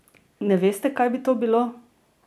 Ne veste, kaj bi to bilo?